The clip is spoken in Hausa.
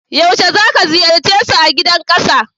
Yaushe zaka ziyarce su a Gidan Kasa?